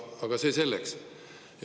Aga see selleks.